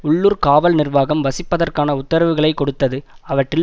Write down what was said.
உள்ளூர் காவல் நிர்வாகம் வசிப்பதற்கான உத்தரவுகளை கொடுத்தது அவற்றில்